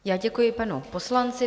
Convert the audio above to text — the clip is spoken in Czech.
Já děkuji panu poslanci.